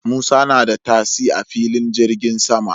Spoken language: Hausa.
Musa na da tasi a filin jirgin sama